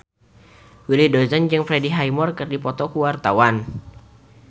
Willy Dozan jeung Freddie Highmore keur dipoto ku wartawan